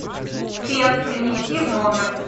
фен принести в номер